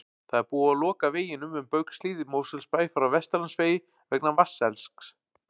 Það er búið að loka veginum um Baugshlíð í Mosfellsbæ frá Vesturlandsvegi vegna vatnselgs.